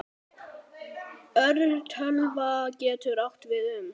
Örtölva getur átt við um